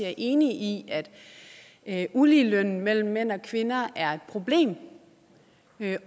er enig i at uligelønnen mellem mænd og kvinder er et problem